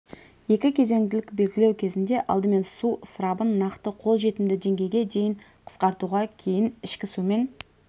екі кезеңділік белгілеу кезінде алдымен су ысырабын нақты қол жетімді деңгейге дейін қысқартуға кейін ішкі сумен